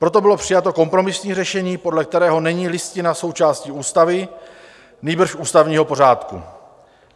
Proto bylo přijato kompromisní řešení, podle kterého není Listina součástí ústavy, nýbrž ústavního pořádku.